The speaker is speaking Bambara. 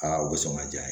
Aa o bɛ sɔn ka ja